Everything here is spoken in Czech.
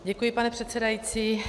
Děkuji, pane předsedající.